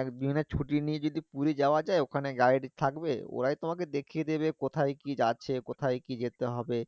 একদিনে ছুটি নিয়ে যদি পুরি যাওয়া যায় ওখানে guide থাকবে ওরাই তোমাকে দেখিয়ে দিবে কোথায় কি যাচ্ছে কোথায় কি যেতে হবে